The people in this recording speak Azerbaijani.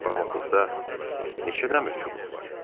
Barmaqlıqda neçə dəmir çubuq var?